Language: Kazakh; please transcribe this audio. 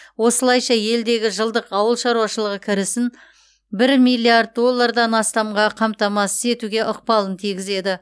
осылайша елдегі жылдық ауыл шаруашылығы кірісін бір миллиард доллардан астамға қамтамасыз етуге ықпалын тигізеді